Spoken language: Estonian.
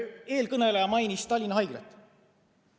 Eelkõneleja mainis Tallinna Haiglat.